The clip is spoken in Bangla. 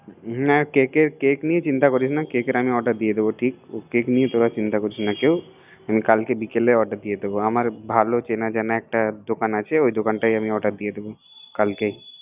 হুম ককের, কেক নিয়া চিন্তা করিস না কেকের আমি অর্ডার দিয়ে দিবো ঠিক কোক নিয়া তোরা চিন্তা করিস না কেউআমার ভালো চেনা জানা দোকান আছেওই দোকানটাই অর্ডার দিয়ে দিবো